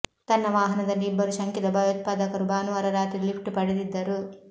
ತನ್ನ ವಾಹನದಲ್ಲಿ ಇಬ್ಬರು ಶಂಕಿತ ಭಯೋತ್ಪಾದಕರು ಭಾನುವಾರ ರಾತ್ರಿ ಲಿಫ್ಟ್ ಪಡೆದಿದ್ದರು